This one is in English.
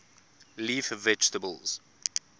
leaf vegetables